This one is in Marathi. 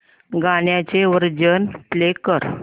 गाण्याचे व्हर्जन प्ले कर